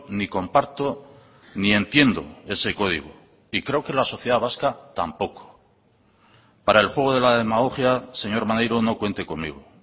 ni comparto ni entiendo ese código y creo que la sociedad vasca tampoco para el juego de la demagogia señor maneiro no cuente conmigo